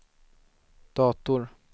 dator